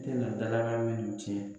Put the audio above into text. tena dalakan minnu tiɲɛ.